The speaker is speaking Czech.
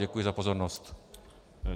Děkuji za pozornost.